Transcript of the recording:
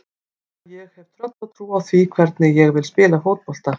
Þannig að ég hef tröllatrú á því hvernig ég vil spila fótbolta.